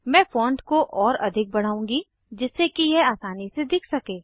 मैं फॉन्ट को और अधिक बढ़ाउंगी जिससे कि यह आसानी से दिख सके